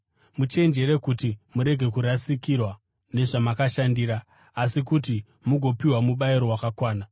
Muchenjere kuti murege kurasikirwa nezvamakashandira, asi kuti mugopiwa mubayiro wakakwana.